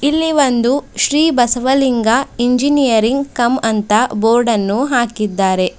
ಇಲ್ಲಿ ಒಂದು ಶ್ರೀ ಬಸವಲಿಂಗ ಇಂಜಿನಿಯರಿಂಗ್ ಕಮ್ ಅಂತ ಬೋರ್ಡ ಅನ್ನು ಹಾಕಿದ್ದಾರೆ.